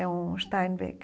É um Steinbecker.